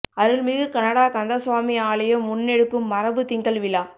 அருள்மிகு கனடா கந்த சுவாமி ஆலயம் முன்னெடுக்கும் மரபுத் திங்கள் விழா